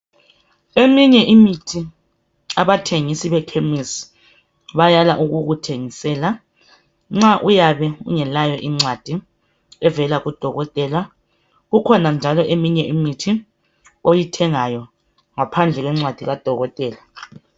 Eminye imithi abathengisi bekhemisi bayala ukukuthengisela nxa uyabe ungelayo incwadi evela kadokotela. Kukhona njalo eminye imithi oyithengayo ngaphandle kwencwadi kadokotela.